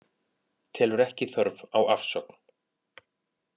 Telur ekki þörf á afsögn